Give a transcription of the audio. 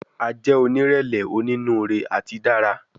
A jẹ onírẹlẹ, oninuure ati dara